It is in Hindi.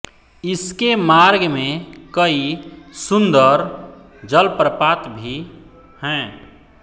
इस के मार्ग में कई सुंदर जलप्रपात भी हैं